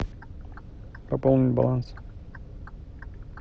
пополнить баланс